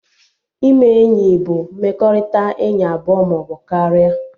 Ime enyi bụ mmekọrịta enyi abụọ maọbụ karịa